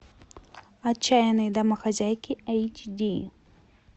отчаянные домохозяйки эйч ди